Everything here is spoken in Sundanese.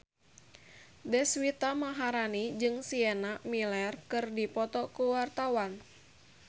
Deswita Maharani jeung Sienna Miller keur dipoto ku wartawan